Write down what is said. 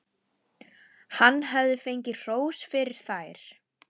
Hann hafði fengið hrós fyrir þær.